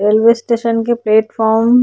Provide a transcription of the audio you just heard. railway station के platform --